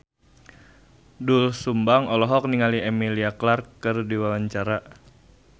Doel Sumbang olohok ningali Emilia Clarke keur diwawancara